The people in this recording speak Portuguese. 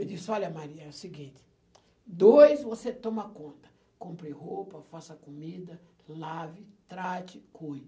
Eu disse, olha Maria, é o seguinte, dois, você toma conta, compre roupa, faça comida, lave, trate,